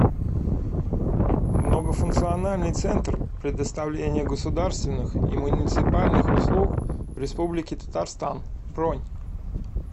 многофункциональный центр предоставления государственных и муниципальных услуг в республике татарстан бронь